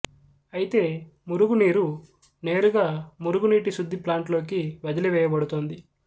అయితే మురుగు నీరు నేరుగా మురుగునీటి శుద్ధి ప్లాంట్లోకి వదిలివేయబడుతోంది